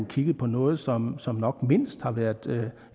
kigget på noget som som nok mindst har været